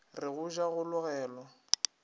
re go ja go logelwa